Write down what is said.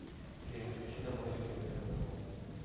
переключи на мой любимый канал